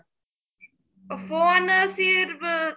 phone ਸੀ ਸਿਰਬ